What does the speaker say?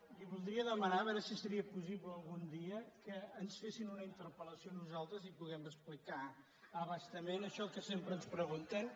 li voldria demanar a veure si seria possible algun dia que ens fessin una interpel·a nosaltres i poder explicar a bastament això que sempre ens pregunten